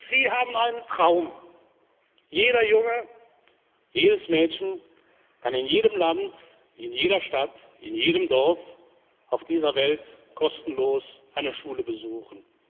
Sie haben einen Traum Jeder Junge, jedes Mädchen kann in jedem Land, in jeder Stadt, in jedem Dorf auf dieser Welt kostenlos eine Schule besuchen.